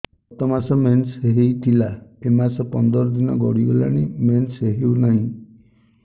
ଗତ ମାସ ମେନ୍ସ ହେଇଥିଲା ଏ ମାସ ପନ୍ଦର ଦିନ ଗଡିଗଲାଣି ମେନ୍ସ ହେଉନାହିଁ